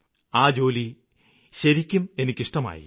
ആ ജോലി എനിക്ക് ശരിക്കും ഇഷ്ടമായി